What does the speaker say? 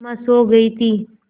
सिमा सो गई थी